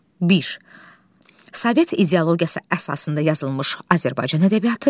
Bir, Sovet ideologiyası əsasında yazılmış Azərbaycan ədəbiyyatı.